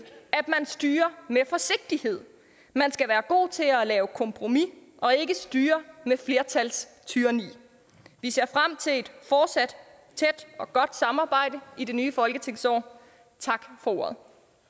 at man styrer med forsigtighed man skal være god til at lave kompromis og ikke styre med flertalstyranni vi ser frem til et fortsat tæt og godt samarbejde i det nye folketingsår tak for ordet